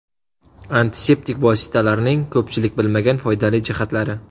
Antiseptik vositalarning ko‘pchilik bilmagan foydali jihatlari.